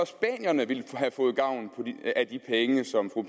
ville have fået gavn af de penge som fru